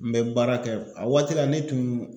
N bɛ baara kɛ, a waati la ne tun